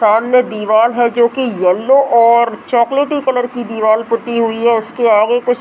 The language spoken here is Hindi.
सामने दीवाल है जो की येलो और चोकोलेटी कलर की दीवाल पुती हुई है उसके आगे कुछ --